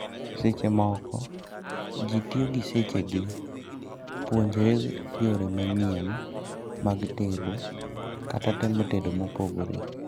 Seche moko, jii tio gi seche gi puonjre yore manyien mag tedo kata temo tedo mopogore